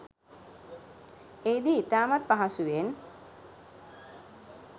එහිදී ඉතාමත් පහසුවෙන්